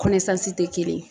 tɛ kelen ye.